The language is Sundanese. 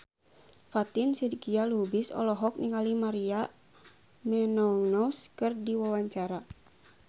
Fatin Shidqia Lubis olohok ningali Maria Menounos keur diwawancara